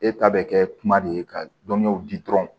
E ta bɛ kɛ kuma de ye ka dɔnniyaw di dɔrɔn